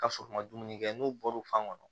Ka sɔrɔ u ma dumuni kɛ n'u bɔr'u fan kɔnɔ